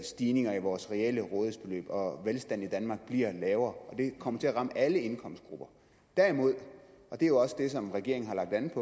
stigninger i vores reelle rådighedsbeløb og velstanden i danmark bliver lavere det kommer til at ramme alle indkomstgrupper derimod og det er jo også det som regeringen har lagt an